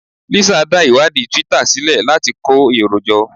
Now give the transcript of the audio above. Lisa dá ìwádìí Twitter sílẹ̀ láti kó èrò jọ